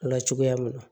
O la cogoya min na